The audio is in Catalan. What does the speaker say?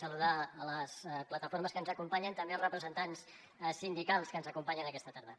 saludar les plataformes que ens acompanyen també els representants sindicals que ens acompanyen aquesta tarda